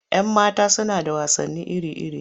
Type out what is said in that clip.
Yan mata suna da wasanni iri-iri.